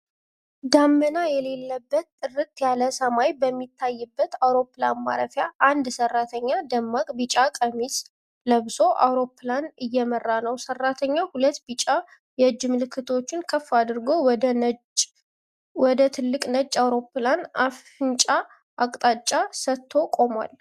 ደመና የሌለበት ጥርት ያለ ሰማይ በሚታይበት አውሮፕላን ማረፊያ፣ አንድ ሠራተኛ ደማቅ ቢጫ ቀሚስ ለብሶ አውሮፕላን እየመራ ነው። ሠራተኛው ሁለት ቢጫ የእጅ ምልክቶችን ከፍ አድርጎ ወደ ትልቁ ነጭ አውሮፕላን አፍንጫ አቅጣጫ ሰጥቶ ቆሟል።